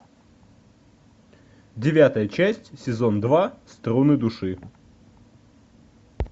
девятая часть сезон два струны души